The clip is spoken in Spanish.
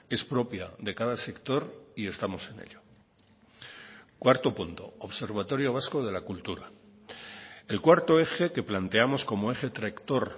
es propia de cada sector y estamos en ello cuarto punto observatorio vasco de la cultura el cuarto eje que planteamos como eje tractor